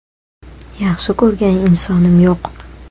Yaxshi ko‘rgan insonim yo‘q.